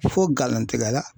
Fo galontigɛla.